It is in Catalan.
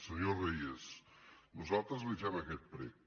senyor reyes nosaltres li fem aquest prec